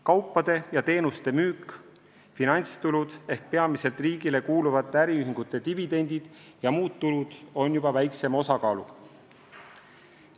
Kaupade ja teenuste müük, finantstulud ehk peamiselt riigile kuuluvate äriühingute dividendid ja muud tulud on juba väiksema osakaaluga.